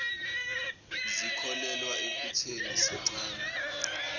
zikholelwa ekutheni sincane